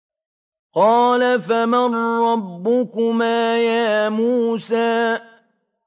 قَالَ فَمَن رَّبُّكُمَا يَا مُوسَىٰ